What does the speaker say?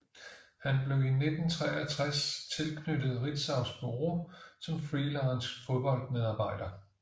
Han blev i 1963 tilknyttet Ritzaus Bureau som freelance fodboldmedarbejder